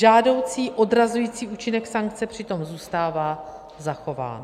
Žádoucí odrazující účinek sankce přitom zůstává zachován.